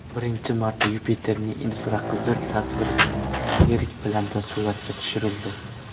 Birinchi marta Yupiterning infraqizil tasvirlari yirik planda suratga tushirildi.